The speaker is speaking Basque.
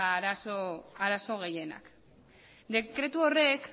arazo gehienak dekretu horrek